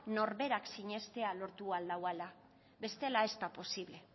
norberak sinestea lortu ahal dauala bestela ez da posible